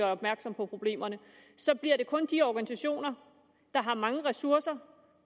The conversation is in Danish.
opmærksom på problemerne så bliver det kun de organisationer der har mange ressourcer